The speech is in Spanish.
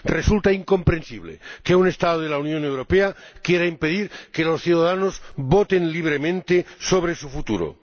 Resulta incomprensible que un Estado de la Unión Europea quiera impedir que los ciudadanos voten libremente sobre su futuro.